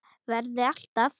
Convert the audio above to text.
Verði alltaf.